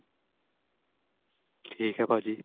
ਠੀਕ ਏ ਭਾਜੀ